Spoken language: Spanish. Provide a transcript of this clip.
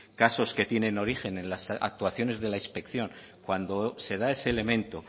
casos que tienen origen en las actuaciones de la inspección cuando se da ese elemento